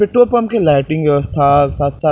petrol pump के lighting व्यवस्था साथ-साथ --